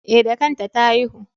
E, da kanta ta haihu.